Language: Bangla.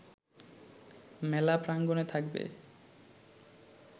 মেলা প্রাঙ্গণে থাকবে